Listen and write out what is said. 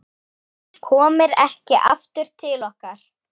Komir ekki aftur til okkar.